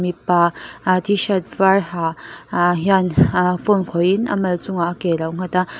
mipa a tshirt var ha a hian a phone khawihin a mal chungah ke alo nghat a.